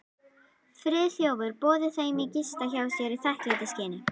Friðþjófur boðið þeim að gista hjá sér í þakklætisskyni.